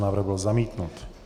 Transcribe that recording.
Návrh byl zamítnut.